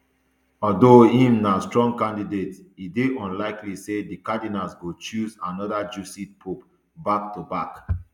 although im na strong candidate e dey unlikely say di cardinals go choose anoda jesuit pope back to back